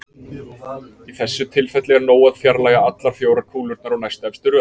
Í þessu tilfelli er nóg að fjarlægja allar fjórar kúlurnar úr næstefstu röð.